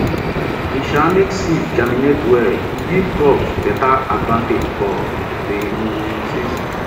e um make seeds germinate well e give crops better advantage for the um season